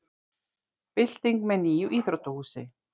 Bylting með nýju íþróttahúsi